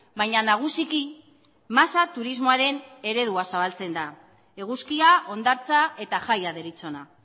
baina nagusiki masa turismoaren eredua zabaltzen da eguzkia hondartza eta jaia deritzona